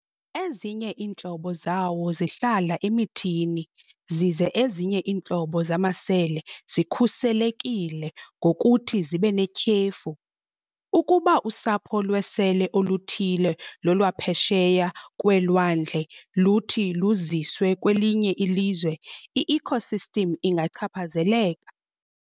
Ezinye iintlobo zawo zihlala emithini, zize ezinye iintlobo zamasele zikhuselekile ngokuthi zibenetyhefu. Ukuba usapho lwesele oluthile lolwaphesheya kweelwandle luthi luziswe kwelinye ilizwe, iecosystem ingachaphazeleka.